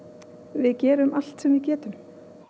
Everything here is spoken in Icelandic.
við gerum allt sem við getum